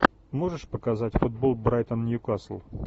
можешь показать футбол брайтон ньюкасл